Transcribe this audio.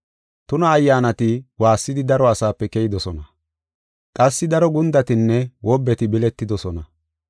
Tuna ayyaanati waassidi daro asaape keyidosona; qassi daro gundatinne wobbeti biletidosona.